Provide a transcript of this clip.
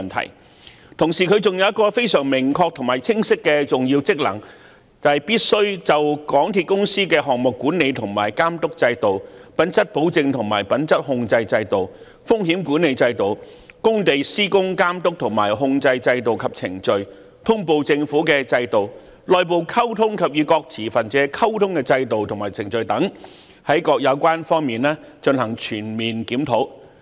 同時，調查委員會還有一個非常明確和清晰的重要職能，就是必須就港鐵公司的項目管理和監督制度、品質保證和品質控制制度、風險管理制度、工地施工監督和控制制度及程序、通報政府的制度、內部溝通及與各持份者溝通的制度和程序等，在各有關方面進行全面檢討。